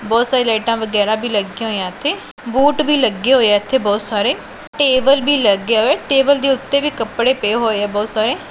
ਬਹੁਤ ਸਾਰੀ ਲਾਈਟਾਂ ਵਗੈਰਾ ਭੀ ਲੱਗਿਆਂ ਹੋਈਆਂ ਇੱਥੇ ਬੂਟ ਵੀ ਲੱਗੇ ਹੋਏ ਐ ਇੱਥੇ ਬਹੁਤ ਸਾਰੇ ਟੇਬਲ ਭੀ ਲੱਗੇ ਹੋਏ ਐ ਟੇਬਲ ਦੇ ਓੱਤੇ ਵੀ ਕੱਪੜੇ ਪਏ ਹੋਏ ਐ ਬਹੁਤ ਸਾਰੇ।